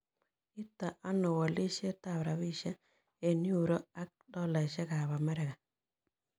Iite ano wolisietap rabisiek eng' yuro ak tolaisiekap Amerika